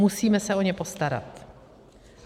Musíme se o ně postarat.